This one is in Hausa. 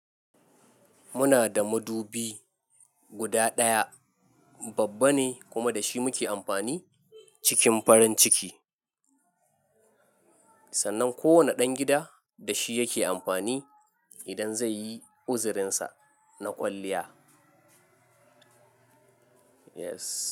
Muna da madubi guda ɗaya, babba ne kuma da shi muke amfani cikin farin ciki. Sannan kowane ɗan gida da shi yake amfani idan zai yi uzurinsa na kwalliya. Yes.